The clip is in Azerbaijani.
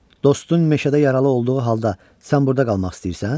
Dostun meşədə yaralı olduğu halda sən burada qalmaq istəyirsən?